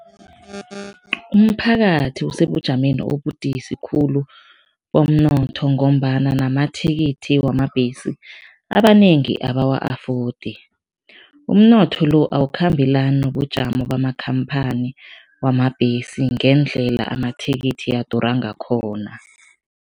Umphakathi usebujameni obubudisi khulu bomnotho ngombana namathikithi wamabhesi abanengi abawa-afodi. Umnotho lo awukhambelani nobujamo bamakhamphani wamabhesi ngendlela amathikithi adura ngakhona.